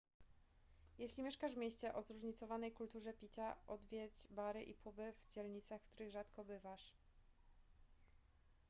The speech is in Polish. jeśli mieszkasz w mieście o zróżnicowanej kulturze picia odwiedź bary i puby w dzielnicach w których rzadko bywasz